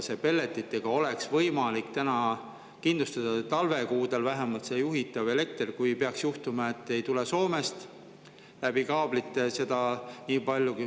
Pelletitega oleks võimalik vähemalt talvekuudel kindlustada juhitav elekter, kui peaks juhtuma, et Soomest läbi kaablite ei tule nii palju.